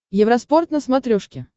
евроспорт на смотрешке